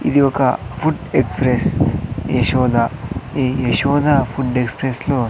ఇది ఒక food express Yashoda ఈ యశోద ఫుడ్ ఎక్స్ప్రెస్ లో--